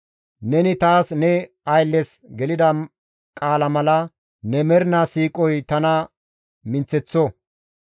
Neni taas ne ayllezas gelida qaala mala ne mernaa siiqoy tana minththeththo.